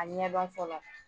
A ɲɛ dɔn fɔlɔ